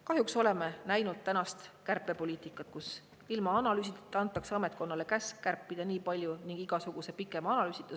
Kahjuks oleme näinud tänast kärpepoliitikat, kus ilma analüüsita antakse ametkonnale käsk kärpida nii ja nii palju ning igasuguse pikema analüüsita.